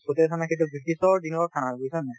চতিয়া থানা সেইটো ব্ৰিটিছৰ দিনৰ থানা বুজিছা নে নাই